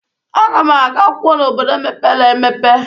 Aga m aga akwụkwọ n'obodo mèpéré èmèpé